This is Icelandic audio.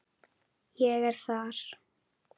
Ég er þar.